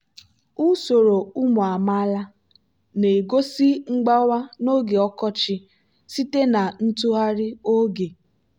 usoro ụmụ amaala na-egosi mgbawa n'oge ọkọchị site na ntụgharị oge.